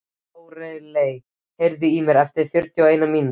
Lóreley, heyrðu í mér eftir fjörutíu og eina mínútur.